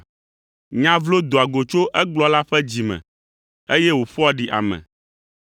Nya vlo doa go tso egblɔla ƒe dzi me, eye wòƒoa ɖi ame.